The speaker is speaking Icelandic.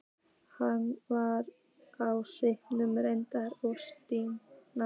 Hann var á svipuðu reki og Stína.